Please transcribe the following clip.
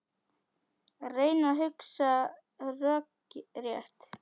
Að reyna að hugsa rökrétt